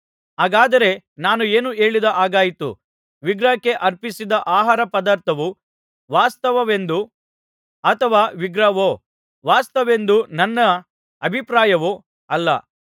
ಹಾಗಾದರೆ ನಾನು ಏನು ಹೇಳಿದ ಹಾಗಾಯಿತು ವಿಗ್ರಹಕ್ಕೆ ಅರ್ಪಿಸಿದ ಆಹಾರಪದಾರ್ಥವು ವಾಸ್ತವವೆಂದೋ ಅಥವಾ ವಿಗ್ರಹವು ವಾಸ್ತವವೆಂದು ನನ್ನ ಅಭಿಪ್ರಾಯವೋ ಅಲ್ಲ